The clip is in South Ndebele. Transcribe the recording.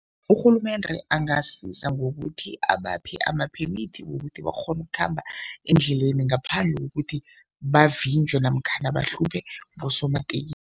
Urhulumende angasiza ngokuthi abaphe amaphemithi wokuthi bakghone ukukhamba endleleni ngaphandle kokuthi bavinjwe namkhana bahlushwe